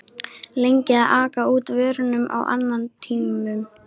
lengi að aka út vörunum á annatímum.